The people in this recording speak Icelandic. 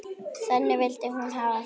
Þannig vildi hún hafa það.